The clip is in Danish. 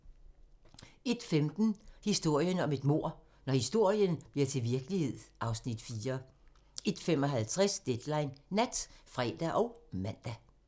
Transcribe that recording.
01:15: Historien om et mord - Når historien bliver til virkelighed (Afs. 4) 01:55: Deadline Nat (fre og man)